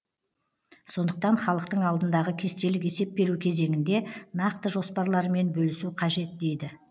сондықтан халықтың алдындағы кестелік есеп беру кезеңінде нақты жоспарларымен бөлісу қажет дейді